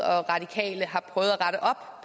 og radikale har prøvet at rette op